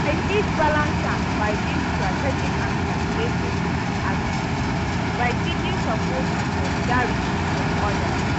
I fit balance am by being strategic and calculative in my actions by seeking support and solidarity from odas.